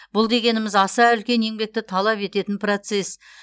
бұл дегеніміз аса үлкен еңбекті талап ететін процесс